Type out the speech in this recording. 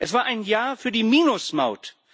Es war ein Ja für die Minus Maut.